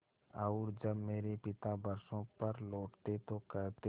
और जब मेरे पिता बरसों पर लौटते तो कहते